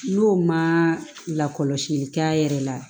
N'o ma lakɔlɔsili kɛ a yɛrɛ la